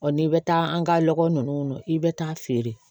n'i bɛ taa an ka lɔgɔ ninnu kɔnɔ i bɛ taa feere